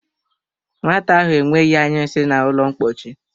Nwata ahụ enweghị añyu nsị na ụlọ ḿkpóchí